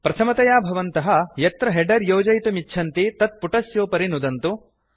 प्रथमतया भवन्तः यत्र हेडर् योजयितुमिच्छन्ति तत्पुटस्योपरि नुदन्तु